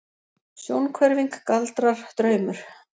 Sjónhverfing, galdrar, draumur?